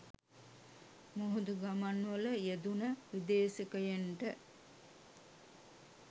මුහුදු ගමන්වල යෙදුණ විදේශිකයන්ට